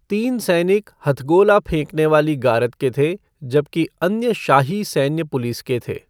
तीन सैनिक हथगोला फेंकने वाली गारद के थे जबकि अन्य शाही सैन्य पुलिस के थे।